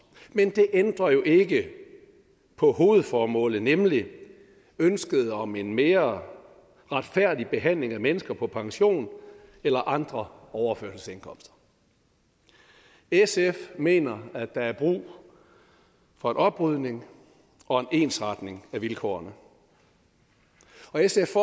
men det ændrer jo ikke på hovedformålet nemlig ønsket om en mere retfærdig behandling af mennesker på pension eller andre overførselsindkomster sf mener at der er brug for en oprydning og en ensretning af vilkårene og sf